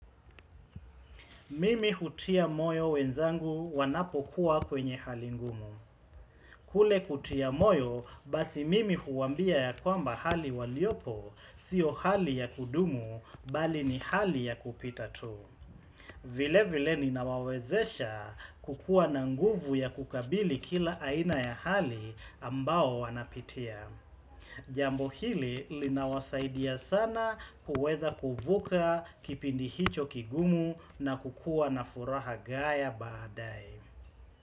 Mimi hutia moyo wenzangu wanapokuwa kwenye hali ngumu. Kule kutia moyo basi mimi huwa ambia ya kwamba hali waliopo sio hali ya kudumu bali ni hali ya kupita tu. Vile vile ni na wawezesha kukua na nguvu ya kukabili kila aina ya hali ambao wanapitia. Jambo hili linawasaidia sana kuweza kuvuka kipindi hicho kigumu na kukuwa na furaha gaya baadae.